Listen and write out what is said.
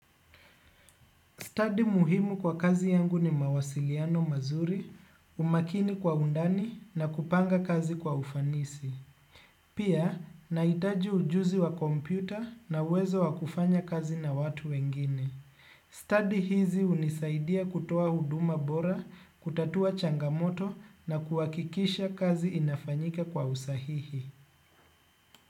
Study muhimu kwa kazi yangu ni mawasiliano mazuri, umakini kwa undani na kupanga kazi kwa ufanisi. Pia, nahitaji ujuzi wa kompyuta na uwezo wakufanya kazi na watu wengine. Study hizi unisaidia kutoa huduma bora, kutatua changamoto na kuwakikisha kazi inafanyika kwa usahihi.